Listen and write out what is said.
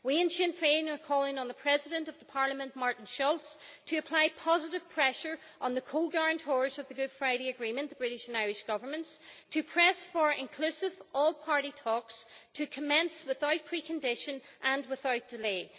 We in Sinn Féin are calling on the President of Parliament, Martin Schulz, to apply positive pressure on the co-guarantors of the Good Friday Agreement the British and Irish Governments to press for inclusive, all party talks to commence without precondition and without delay.